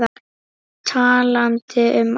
Talandi um áhrif.